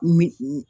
Min